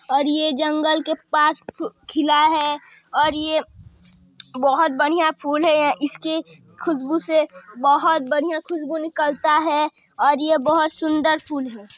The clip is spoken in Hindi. --और ये जंगल के पास खिला है और ये बहुत बढ़िया फुल हैं इसकी खुशबू से बहुत बढ़िया खूशबू निकलता हैं और ये बहुत सुन्दर फूल हैं।